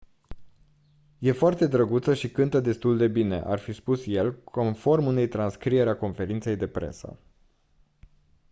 e foarte drăguță și cântă destul de bine ar fi spus el conform unei transcrieri a conferinței de presă